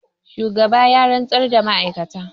shugaba ya zantar da ma'aikatan